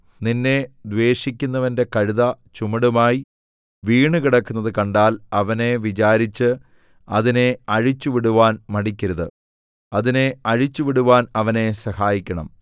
നിന്നെ ദ്വേഷിക്കുന്നവന്റെ കഴുത ചുമടുമായി വീണുകിടക്കുന്നത് കണ്ടാൽ അവനെ വിചാരിച്ച് അതിനെ അഴിച്ചുവിടുവാൻ മടിക്കരുത് അതിനെ അഴിച്ചുവിടുവാൻ അവനെ സഹായിക്കണം